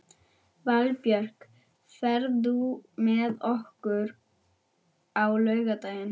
Valbjörk, ferð þú með okkur á laugardaginn?